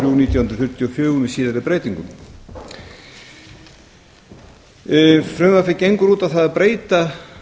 nítján hundruð fjörutíu og fjögur með síðari breytingum frumvarpið gengur út á það að breyta